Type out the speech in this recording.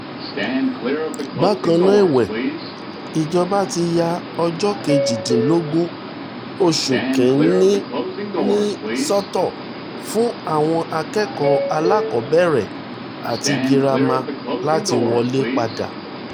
bákan náà èwe ìjọba ti ya ọjọ́ kejìdínlógún oṣù kìn-ín-ní sọ́tọ̀ fún àwọn akẹ́kọ̀ọ́ alákọ̀ọ́bẹ̀rẹ̀ àti girama girama láti wọlé padà